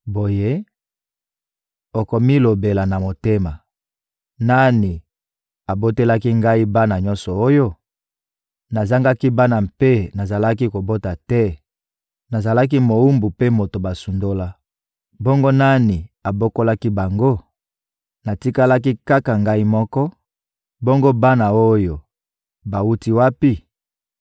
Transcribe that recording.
Boye, okomilobela na motema: «Nani abotelaki ngai bana nyonso oyo? Nazangaki bana mpe nazalaki kobota te, nazalaki mowumbu mpe moto basundola. Bongo nani abokolaki bango? Natikalaki kaka ngai moko, bongo bana oyo bawuti wapi?»